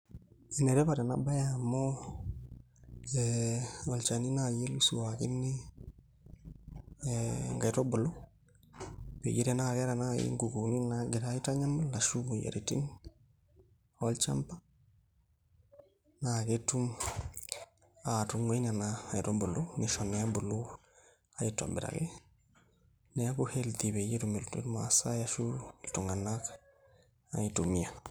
Enetipat enabae amu e olchani nai otusulakine enkaitubulu peyie tanaa keeta nai nkukuni nagira aitanyamal ashu moyiaritin olchamba na ketum atungae nona kaiitubulu pisho na ebuku aitobiraki, neaku@ healthy petumoki irmasaai ashu ltunganak aitumia.